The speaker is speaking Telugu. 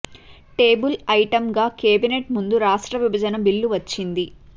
టేబుల్ ఐటమ్ గా కేబినేట్ ముందుకు రాష్ట్ర విభజన బిల్లు వచ్చింది